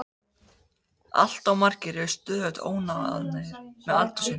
Allt of margir eru stöðugt óánægðir með aldur sinn.